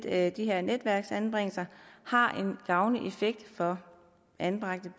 at de her netværksanbringelser har en gavnlig effekt for anbragte